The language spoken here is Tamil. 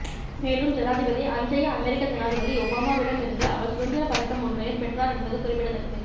மேலும் ஜனாதிபதி அன்றைய அமெரிக்க ஜனாதிபதி ஒபாமாவிடம் இருந்தும் அவர் சுதந்திரப் பதக்கம் ஒன்றையும் பெற்றார் என்பது குறிப்பிடத்தக்கது